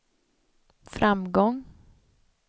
framgång